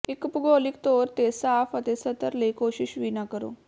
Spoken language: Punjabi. ਇੱਕ ਭੂਗੋਲਿਕ ਤੌਰ ਤੇ ਸਾਫ ਅਤੇ ਸਤਰ ਲਈ ਕੋਸ਼ਿਸ਼ ਵੀ ਨਾ ਕਰੋ